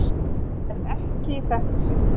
En ekki í þetta sinn.